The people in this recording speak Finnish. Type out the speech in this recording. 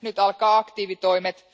Nyt alkavat aktiivitoimet.